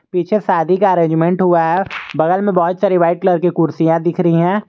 पीछे शादी का अरेंजमेंट हुआ है बगल में बहुत सारी व्हाइट कलर की कुर्सियां दिख रही है।